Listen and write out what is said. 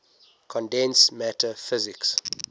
condensed matter physics